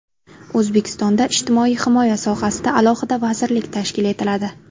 O‘zbekistonda ijtimoiy himoya sohasida alohida vazirlik tashkil etiladi.